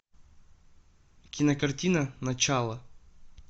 кинокартина начало